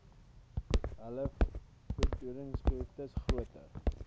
hul voedingsbehoeftes groter